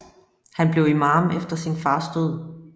Han blev imām efter sin fars død